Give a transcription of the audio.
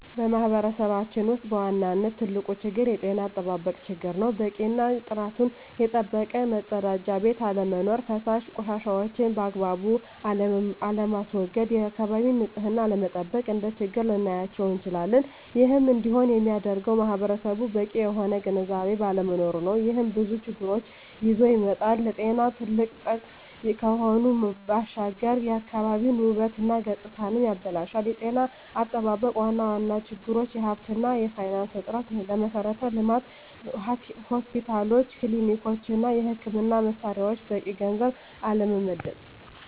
በማህበረሰባችን ውስጥ በዋናነት ትልቁ ችግር የጤና አጠባበቅ ችግር ነው። በቂ እና ጥራቱን የጠበቀ መፀዳጃ ቤት አለመኖር። ፈሳሽ ቆሻሻዎችን ባግባቡ አለማስዎገድ፣ የአካባቢን ንፅህና አለመጠበቅ፣ እንደ ችግር ልናያቸው እንችላለን። ይህም እንዲሆን የሚያደርገውም ማህበረሰቡ በቂ የሆነ ግንዝቤ ባለመኖሩ ነው። ይህም ብዙ ችግሮችን ይዞ ይመጣል። ለጤና ትልቅ ጠንቅ ከመሆኑ ባሻገር የአካባቢን ውበት እና ገፅታንም ያበላሻል። የጤና አጠባበቅ ዋና ዋና ችግሮች የሀብት እና የፋይናንስ እጥረት፣ ለመሠረተ ልማት (ሆስፒታሎች፣ ክሊኒኮች) እና የሕክምና መሣሪያዎች በቂ ገንዘብ አለመመደብ።